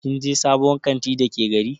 Kin je sabuwar kanti Dake gari?